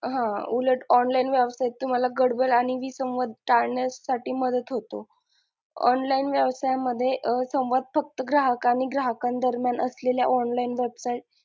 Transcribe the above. हा उलट online व्यवसायात तुम्हाला गडबड आणि विसंवाद टाळण्यासाठी मदत होतो online व्यवसाया मध्ये संवाद फक्त ग्राहक आणि ग्राहकां दरम्यान असलेल्या online website